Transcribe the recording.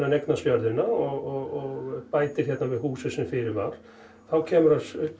hann eignast jörðina og bætir hérna við húsið sem fyrir var þá kemur hann upp